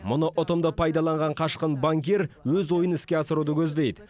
мұны ұтымды пайдаланған қашқын банкир өз ойын іске асыруды көздейді